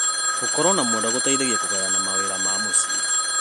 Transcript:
Gũkorwo na mwendwa gũteithagia kũgayana mawĩra ma mũciĩ.